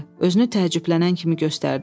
Özünü təəccüblənən kimi göstərdi.